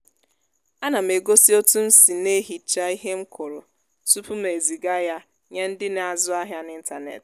á nà m egósí òtú m sì na-ehichá íhe m kụrụ tupu m ezìgá yá nyé ndị́ na-ázụ ahiá n'ịntanetị